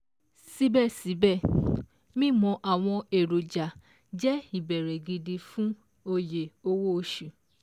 Síbẹ̀ síbẹ̀, mímọ àwọn èròjà jẹ́ ìbẹ̀rẹ̀ gidi fún Oyè owó oṣù